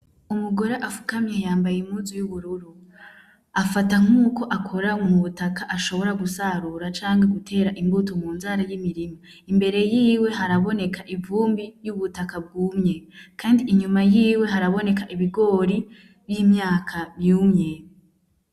Umugore apfukamye yambaye impuzu y'ubururu afata nkuko akora mu butaka ashobora gusarura canke gutera imbuto mu murima imbere yiwe haraboneka ivumbi y'ubutaka bwumye kandi inyuma yiwe haraboneka ibigori n'imyaka yumye.